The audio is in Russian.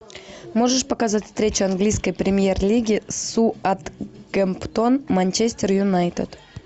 можешь показать встречу английской премьер лиги саутгемптон манчестер юнайтед